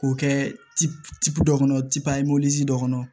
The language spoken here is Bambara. K'o kɛ dɔ kɔnɔ tipuye dɔ kɔnɔ